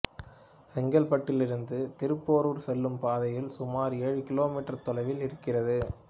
செங்கல்பட்டிலிருந்து திருப்போரூர் செல்லும் பாதையில் சுமார் ஏழு கிலோ மீட்டர் தொலைவில் இருக்கிறது